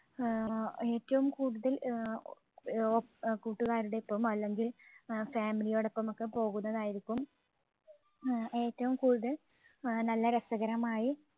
ആഹ് ഏറ്റവും കൂടുതൽ ആഹ് കൂട്ടുകാരുടെ ഒപ്പം അല്ലെങ്കിൽ ആഹ് family യോടൊപ്പം ഒക്കെ പോകുന്നതായിരിക്കും ആഹ് ഏറ്റവും കൂടുതൽ നല്ല രസകരമായി